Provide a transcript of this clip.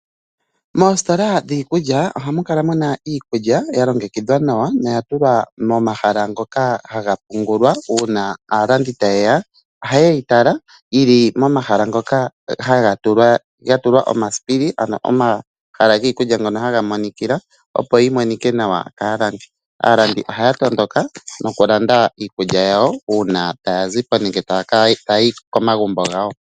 Moostola dhiikulya ohamu kala muna iikulya ya longekidhwa nawa no ua tulwa momahala ngoka ha ga pungulwa uuna islandia ta ye ya, oha ye yi tala yi li momahaka ngoka ga tulwa oma sipili, ngo ha ga monikila opo yi Monika nawa kaalandi. Aalandi oha ya tondondoka no ku landa iikulya yawo uuna taa zipo nenge ta ya yi komagumbo gawo.